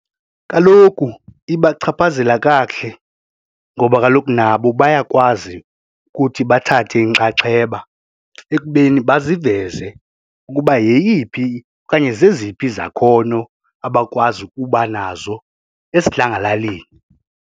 Kaloku ibachaphazela kakuhle ngoba kaloku nabo bayakwazi ukuthi bathathe inxaxheba ekubeni baziveze ukuba yeyiphi okanye zeziphi izakhono abakwazi ukuba nazo esidlangalaleni.